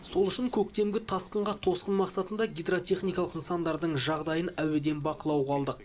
сол үшін көктемгі тасқынға тосқын мақсатында гидротехникалық нысандардың жағдайын әуеден бақылауға алдық